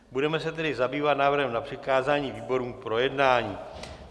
Budeme se tedy zabývat návrhem na přikázání výborům k projednání.